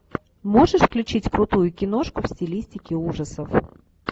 можешь включить крутую киношку в стилистике ужасов